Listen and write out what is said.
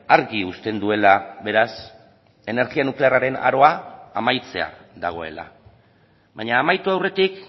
argi uzten duela beraz energia nuklearraren aroa amaitzear dagoela baina amaitu aurretik